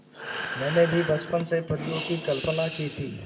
मैंने भी बचपन से परियों की कल्पना की थी